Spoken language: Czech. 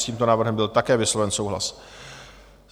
S tímto návrhem byl také vysloven souhlas.